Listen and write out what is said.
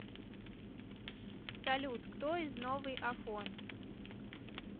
салют кто из новый афон